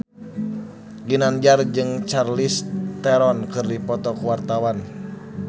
Ginanjar jeung Charlize Theron keur dipoto ku wartawan